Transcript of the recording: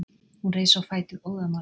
Hún reis á fætur óðamála.